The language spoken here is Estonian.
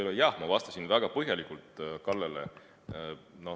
Jah, aga ma vastasingi väga põhjalikult Kallele.